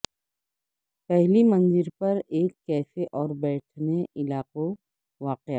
پہلی منزل پر ایک کیفے اور بیٹھنے علاقوں واقع